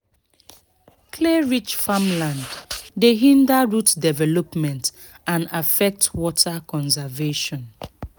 clay-rich farmland dey hinder root development and affect water conservation."